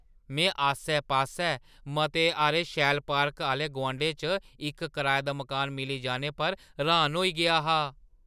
मैं आस्सै-पास्सै मते हारे शैल पार्कें आह्‌ले गुआंढै च इक कराए दा मकान मिली जाने पर र्‌‌हान होई गेआ हा।